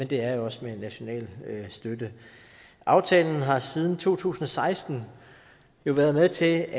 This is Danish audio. det er jo også med en national støtte aftalen har jo siden to tusind og seksten været med til